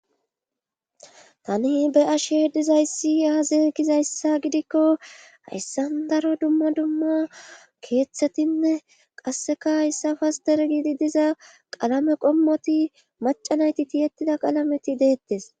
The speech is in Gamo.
Tani beyashe dizayssi aaze gizayssa gidikko hayssan daro dumma dumma keeththetinne qasseka hayssafas der gidi diza qalame qommoti macanayti tiyettida qalameti deettes